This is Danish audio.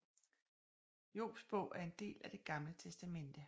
Jobs Bog er en del af Det Gamle Testamente